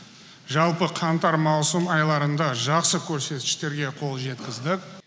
жалпы қаңтар маусым айларында жақсы көрсеткіштерге қол жеткіздік